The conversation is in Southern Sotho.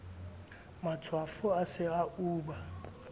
matshwafo a se a uba